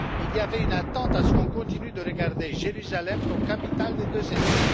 Il y avait une attente pour qu'on continue de regarder Jérusalem comme capitale des deux États.